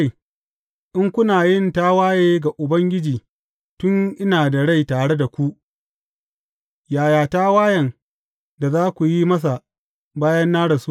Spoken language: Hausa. In kuna yin tawaye ga Ubangiji tun ina da rai tare da ku, yaya tawayen da za ku yi masa bayan na rasu!